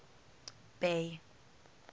bay